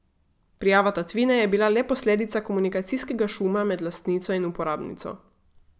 Prijava tatvine je bila le posledica komunikacijskega šuma med lastnico in uporabnico ...